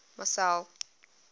marcel